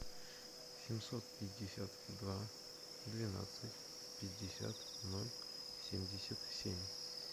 семьсот пятьдесят два двенадцать пятьдесят ноль семьдесят семь